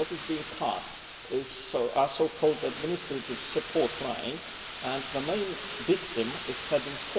But what is being cut are the so called administrative support lines and the main victim is heading